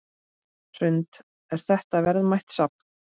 Hrund: Er þetta verðmætt safn?